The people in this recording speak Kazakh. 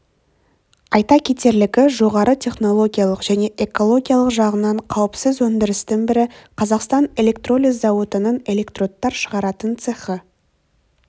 айта кетерлігі жоғары технологиялық және экологиялық жағынан қауіпсіз өндірістің бірі қазақстан электролиз зауытының электродтар шығаратын цехы